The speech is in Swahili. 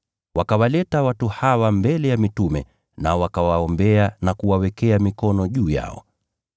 Wakawaleta watu hawa mbele ya mitume, nao wakawaombea na kuwawekea mikono juu yao.